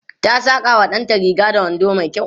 ta Saka wa ɗanta Riga da wando mai kyau